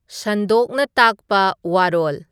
ꯁꯟꯗꯣꯛꯅ ꯇꯥꯛꯄ ꯋꯥꯔꯣꯂ